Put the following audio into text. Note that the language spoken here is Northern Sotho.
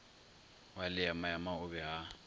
wa leemaema o be a